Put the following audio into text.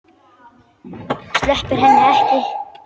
Sleppir henni ekki.